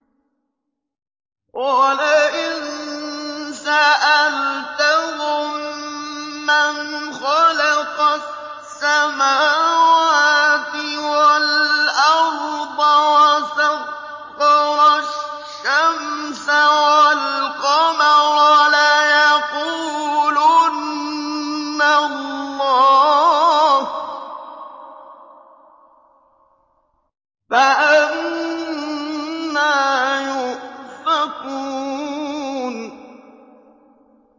وَلَئِن سَأَلْتَهُم مَّنْ خَلَقَ السَّمَاوَاتِ وَالْأَرْضَ وَسَخَّرَ الشَّمْسَ وَالْقَمَرَ لَيَقُولُنَّ اللَّهُ ۖ فَأَنَّىٰ يُؤْفَكُونَ